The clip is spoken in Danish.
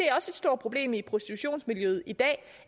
stort problem i prostitutionsmiljøet i dag